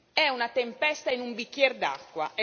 È una tempesta in un bicchiere d'acqua.